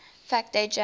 fact date january